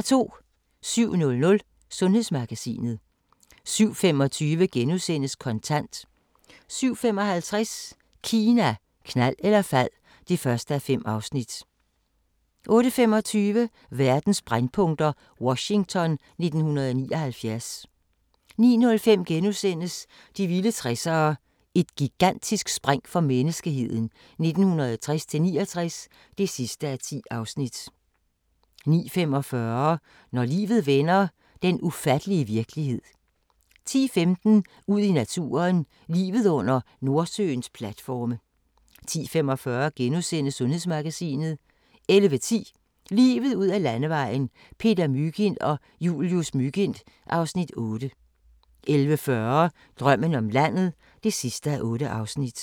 07:00: Sundhedsmagasinet 07:25: Kontant * 07:55: Kina, knald eller fald (1:5) 08:25: Verdens brændpunkter: Washington 1979 09:05: De vilde 60'ere: Et gigantisk spring for menneskeheden 1960-69 (10:10)* 09:45: Når livet vender – den ufattelige virkelighed 10:15: Ud i naturen: Livet under Nordsøens platforme 10:45: Sundhedsmagasinet * 11:10: Livet ud ad Landevejen: Peter Mygind og Julius Mygind (Afs. 8) 11:40: Drømmen om landet (8:8)